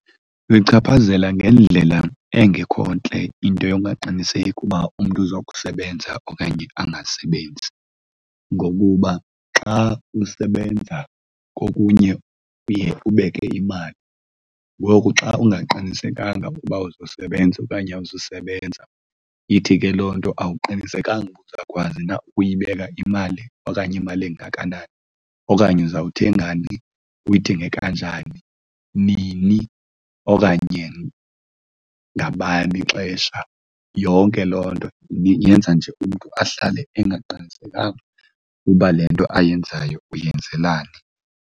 Luyichaphazela ngendlela engekho ntle into yongaqiniseki uba umntu uzokusebenza okanye angasebenzi. Ngokuba xa usebenza kokunye uye ubeke imali, ngoku xa ungaqinisekanga ukuba uzosebenza okanye awuzusebenza, ithi ke loo nto awuqinisekanga uba uzawukwazi na ukuyibeka imali okanye imali engakanani. Okanye uzawuthengani uyithenge kanjani njani, nini okanye ngabani ixesha. Yonke loo nto yenza nje umntu ahlale engaqinisekanga uba le nto ayenzayo uyenzelani.